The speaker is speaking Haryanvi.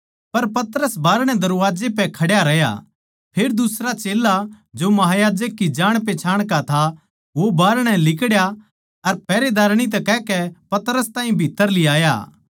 पर पतरस बाहरणै दरबाजे पै खड्या रह्या फेर दुसरा चेल्ला जो महायाजक की जाणपहचान का था वो बाहरणै लिकड़या अर पहरेदारणी तै कहकै पतरस ताहीं भीत्त्तर लीयाया